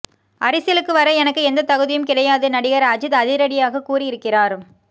அரசியலுக்கு வர எனக்கு எந்த தகுதியும் கிடையாது நடிகர் அஜித் அதிரடியாக கூறியிருக்கிறார்